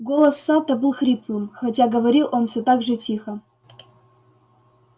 голос сатта был хриплым хотя говорил он все так же тихо